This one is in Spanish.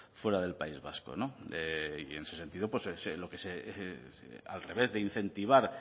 fuera del país vasco y en ese sentido pues lo que se al revés de incentivar